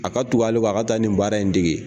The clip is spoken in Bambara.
A ka tug'ale kɔ a ka taa nin baara in dege